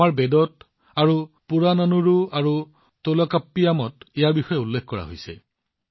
আমাৰ বেদত বাজৰাৰ কথা উল্লেখ কৰা হৈছে ঠিক সেইদৰে পুৰানানুৰু আৰু টোলকাপ্পিয়ামত ইয়াৰ বিষয়েও কোৱা হৈছে